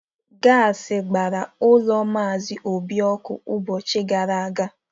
Gaasị gbara ụlọ maazị Obi ọkụ ụbọchị ụka gara aga.